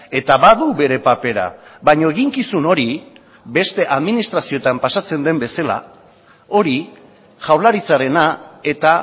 eta badu bere papera baina eginkizun hori beste administrazioetan pasatzen den bezala hori jaurlaritzarena eta